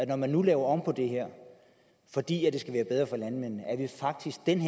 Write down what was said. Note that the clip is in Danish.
når man nu laver om på det her fordi det skal være bedre for landmændene at vi faktisk denne